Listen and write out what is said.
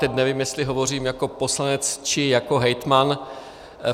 Teď nevím, jestli hovořím jako poslanec, či jako hejtman.